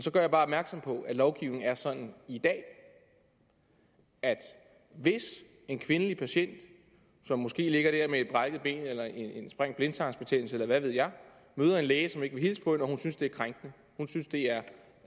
så gør jeg bare opmærksom på at lovgivningen er sådan i dag at hvis en kvindelig patient som måske ligger der med et brækket ben eller en sprængt blindtarm eller hvad ved jeg møder en læge som ikke vil hilse på hende og hun synes det er krænkende